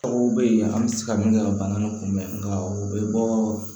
Aw bɛ yen an bɛ se ka min kɛ ka bana in kunbɛn nka o bɛ bɔɔ